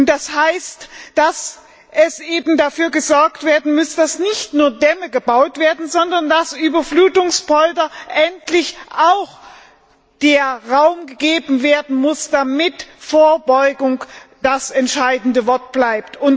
Das heißt, dass dafür gesorgt werden muss, dass nicht nur Dämme gebaut werden, sondern dass Überflutungspoldern endlich auch Raum gegeben werden muss, damit Vorbeugung das entscheidende Wort bleibt.